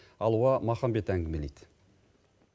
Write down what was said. алуа махамбет әңгімелейді